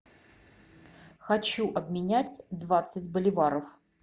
хочу обменять двадцать боливаров